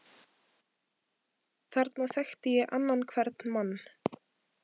Þarna þekkti ég annan hvern mann.